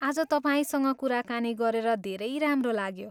आज तपाईँसँग कुराकानी गरेर धेरै राम्रो लाग्यो।